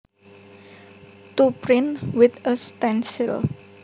To print with a stencil